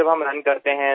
মই নিজে এজন দৌৰবিদ